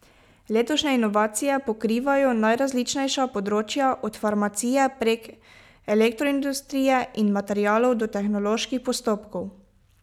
Letošnje inovacije pokrivajo najrazličnejša področja, od farmacije prek elektroindustrije in materialov do tehnoloških postopkov.